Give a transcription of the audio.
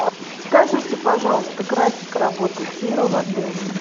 скажите пожалуйста график работы тира в отеле